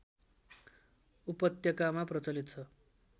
उपत्यकामा प्रचलित छ